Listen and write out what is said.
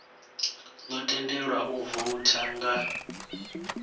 ḓo tendelwa u voutha nga